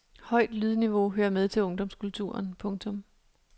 Højt lydniveau hører med til ungdomskulturen. punktum